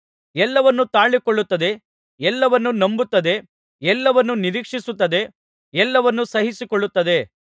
ಎಲ್ಲವನ್ನು ತಾಳಿಕೊಳ್ಳುತ್ತದೆ ಎಲ್ಲವನ್ನು ನಂಬುತ್ತದೆ ಎಲ್ಲವನ್ನು ನಿರೀಕ್ಷಿಸುತ್ತದೆ ಎಲ್ಲವನ್ನು ಸಹಿಸಿಕೊಳ್ಳುತ್ತದೆ